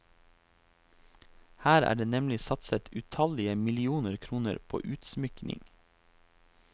Her er det nemlig satset utallige millioner kroner på utsmykning.